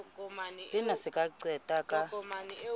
sena se ka qetella ka